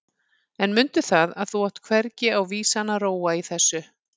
En mundu það að þú átt hvergi á vísan að róa í þessu.